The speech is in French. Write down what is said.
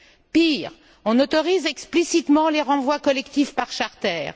Pire, on autorise explicitement les renvois collectifs par charters.